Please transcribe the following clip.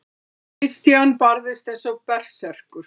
Christian barðist eins og berserkur.